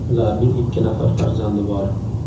Ularning ikki nafar farzandi bor.